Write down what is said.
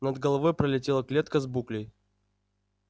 над головой пролетела клетка с буклей